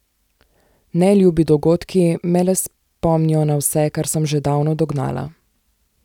Neljubi dogodki me le spomnijo na vse, kar sem že davno dognala.